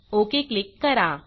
okay click करा